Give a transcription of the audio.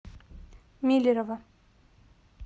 миллерово